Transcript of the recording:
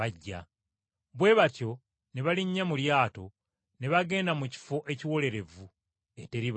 Bwe batyo ne balinnya mu lyato ne bagenda mu kifo ekiwolerevu eteri bantu.